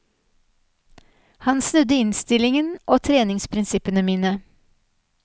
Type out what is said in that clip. Han snudde innstillingen og treningsprinsippene mine.